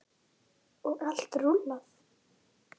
Magnús: Og allt rúllað?